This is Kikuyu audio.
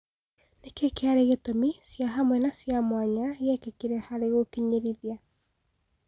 Nĩkĩĩ kĩarĩ ĩtũmi cĩahamwe na cĩamuanya giekĩkire harĩ gũkinyĩrithia